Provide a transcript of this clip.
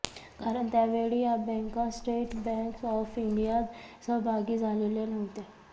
कारण त्यावेळी या बॅंका स्टेट बॅंक ऑफ इंडियात सहभागी झालेल्या नव्हत्या